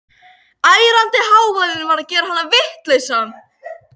Ærandi hávaðinn var að gera hann vitlausan.